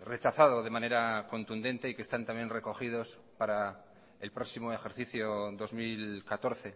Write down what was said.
rechazado de manera contundente y que están también recogidos para el próximo ejercicio dos mil catorce